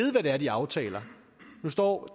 hvad de aftaler nu står